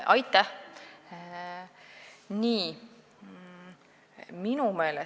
Aitäh!